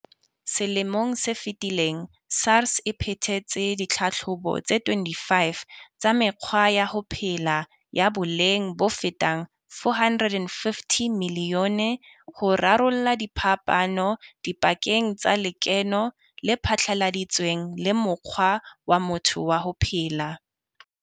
Selemong se fetileng, SARS e phethetse ditlhatlhobo tse 25 tsa mekgwa ya ho phela ya boleng bofetang R450 milione ho rarolla diphapano dipakeng tsa lekeno le phatlaladitsweng le mokgwa wa motho wa ho phela.